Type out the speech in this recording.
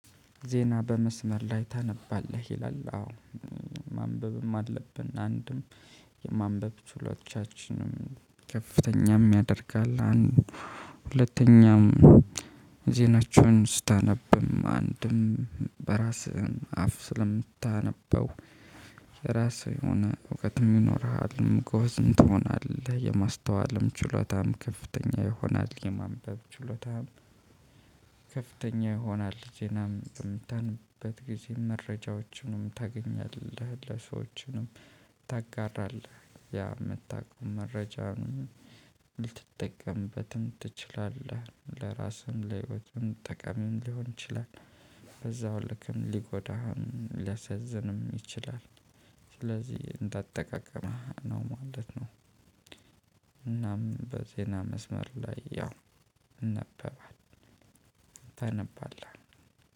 ዜና በመስመር ላይ ታነባለህ ይላል? አዎ ማንበብም አለብን። አንድም የማንበብ ችሎቻችንም ከፍተኛም ያደርጋል። አንድ ሁለተኛም ዜናቸውን ስታነብም አንድም በራስህም አፍ ስለምታነበው የራስህ የሆነ እውቀትም ይኖርሃል ጎበዝም ትሆናለህ የማስተዋልም ችሎታም ከፍተኛ ይሆናል። የማንበብ ችሎታም ከፍተኛ ይሆናል። ዜናም ቅንጣትን ጊዜ መረጃዎችንም ታገኛለህ። ለሰዎችንም ታጋራለህ ያ የምታውቀው መረጃም ልትጠቀምበትም ትችላለህ። ለራስህም ለህይወትህም ጠቃሚ ሊሆን ይችላል። በዛው ልክም ሊጎዳህም ሊያሳዝንም ይችላል። ስለዚህ እንዳጠቃቀምህ ነው ማለት ነው። እናም በዜና መስመር ላይ ያው ይነበባል። ታነባለህ